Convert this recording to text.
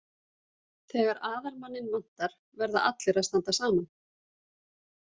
Þegar aðalmanninn vantar verða allir að standa saman.